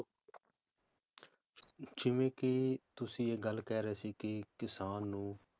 ਜਿਵੇ ਕੀ ਤੁਸੀਂ ਇਹ ਗੱਲ ਕਹਿ ਰਹੇ ਸੀ ਕੀ ਕਿਸਾਨ ਨੂੰ